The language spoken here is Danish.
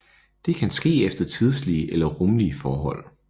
Det kan ske efter tidslige eller rumlige forhold